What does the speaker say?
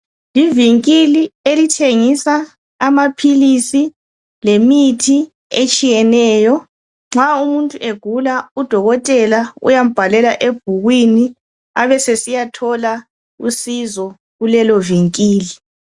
Livinkili elithengisa amaphilisi lemithi etshiyeneyo nxa umuntu egula udokotela uyambhalela ebhukwini abesesiyathola usizo kulelo vinkili.